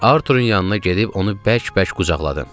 Arturun yanına gedib onu bərk-bərk qucaqladım.